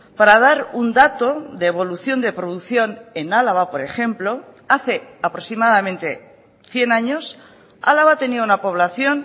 para dar un dato de evolución de producción en álava por ejemplo hace aproximadamente cien años álava tenía una población